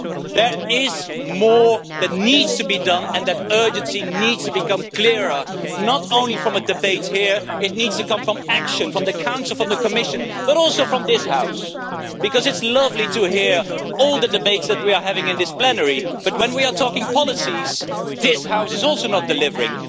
There is more that needs to be done and that urgency needs to become clearer, not only from a debate here, it needs to come from action from the Council, from the Commission, but also from this House because it is lovely to hear all the debates that we are having in this plenary but when we are talking policies, this House is also not delivering.